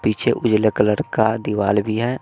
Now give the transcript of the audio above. पीछे उजले कलर का दिवाल भी है।